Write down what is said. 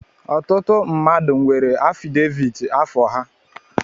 Ọtụtụ mmadụ nwere afideviit afọ ha.